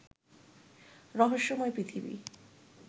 রহস্যময় পৃথিবী